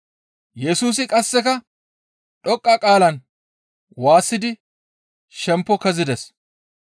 Yesusi qasseka dhoqqa qaalan waassidi shempo kezides.